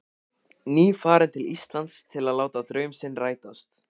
Nýfarinn til Íslands til að láta draum sinn rætast.